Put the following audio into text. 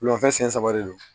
Wulafɛ senɲɛ saba de don